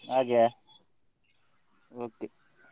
ಹಾಗೆಯಾ okay .